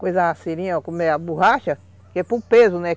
Coisava a seringa, a borracha, que é por peso, né?